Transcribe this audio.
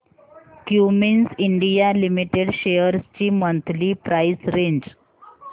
Cummins India limited shares ची monthly price range